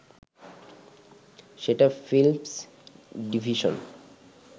সেটা Films division